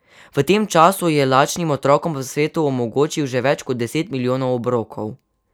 V tem času je lačnim otrokom po svetu omogočil že več kot deset milijonov obrokov.